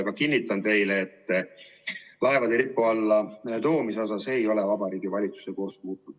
Aga kinnitan teile, et laevade Eesti lipu alla toomise osas ei ole Vabariigi Valitsuse kurss muutunud.